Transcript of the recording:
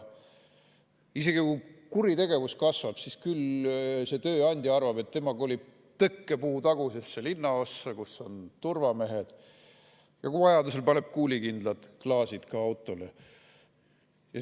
Isegi kui kuritegevus kasvab, siis see tööandja arvab, et tema kolib tõkkepuutagusesse linnaossa, kus on turvamehed, ja kui vaja, siis paneb autole kuulikindlad klaasid.